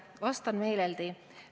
Vastan meeleldi.